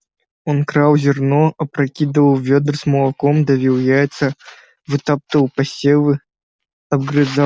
он крал зерно опрокидывал вёдра с молоком давил яйца вытаптывал посевы обгрызал